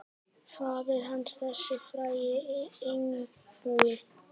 Faðir hans, þessi frægi einbúi.